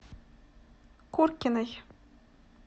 куркиной